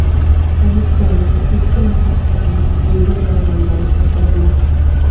Politsiyaning ikki nafar xodimi yengil yaralangani bildirilmoqda.